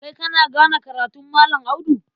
Kai kana gane karatun Malam Audu?